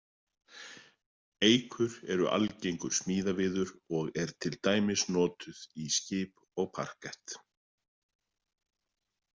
Eikur eru algengur smíðaviður og er til dæmis notuð í skip og parkett.